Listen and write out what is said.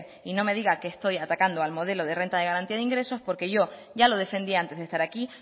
y no me diga que estoy atacando al modelo de renta de garantía de ingresos porque yo ya lo defendía antes de estar aquí